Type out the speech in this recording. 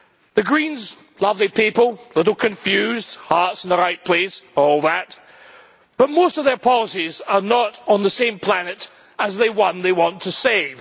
The Greens lovely people, a little confused, hearts in the right place, all that but most of their policies are not on the same planet as the one they want to save.